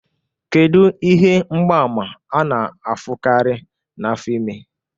Kedu ihe mgbaàmà a na-ahụkarị na afọ ime?